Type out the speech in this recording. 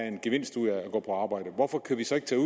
en gevinst ud af at gå på arbejde hvorfor kan vi så ikke tage